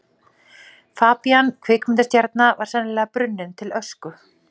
Fabían kvikmyndastjarna var sennilega brunninn til ösku.